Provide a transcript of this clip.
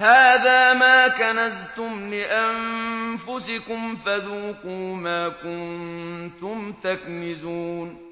هَٰذَا مَا كَنَزْتُمْ لِأَنفُسِكُمْ فَذُوقُوا مَا كُنتُمْ تَكْنِزُونَ